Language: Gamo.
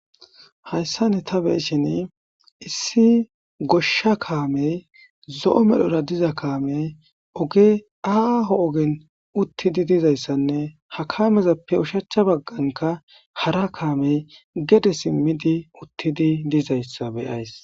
Haysan ta beyishin issi gosha kamey zo'o medhora dizz kamey oge aho ogen uttidi dizaysanne ha kamezappe oshacha bagani hara kamey de'eizaysi gede simidi uttidizaysa be'aysi